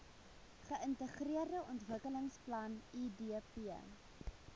geintegreerde ontwikkelingsplan idp